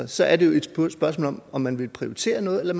så er det jo et spørgsmål om om man vil prioritere noget eller